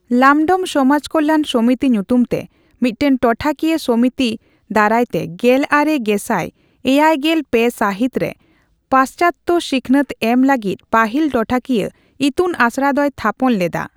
ᱞᱟᱢᱰᱚᱢ ᱥᱚᱢᱟᱡ ᱠᱚᱞᱞᱟᱱ ᱥᱚᱢᱤᱛᱤ ᱧᱩᱛᱩᱢ ᱛᱮ ᱢᱤᱫ ᱴᱟᱝ ᱴᱚᱴᱷᱟᱠᱤᱭᱟᱹ ᱥᱚᱢᱤᱛᱤ ᱫᱟᱨᱟᱭ ᱛᱮ ᱜᱮᱞ ᱟᱨᱮ ᱜᱮᱥᱟᱭ ᱮᱭᱟᱭ ᱜᱮᱞ ᱯᱮ ᱥᱟᱹᱦᱤᱛ ᱨᱮ ᱯᱟᱥᱪᱟᱛᱛᱚ ᱥᱤᱠᱷᱱᱟᱹᱛ ᱮᱢ ᱞᱟᱹᱜᱤᱫ ᱯᱟᱹᱦᱤᱞ ᱴᱚᱴᱷᱟᱠᱤᱭᱟᱹ ᱤᱛᱩᱱ ᱟᱥᱲᱟ ᱫᱚᱭ ᱛᱷᱟᱯᱚᱱ ᱞᱮᱫᱟ ᱾